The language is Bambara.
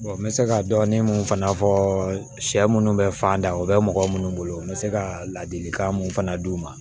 n bɛ se ka dɔɔni mun fana fɔ sɛ minnu bɛ fan da o bɛ mɔgɔ minnu bolo n bɛ se ka ladilikan mun fana di u ma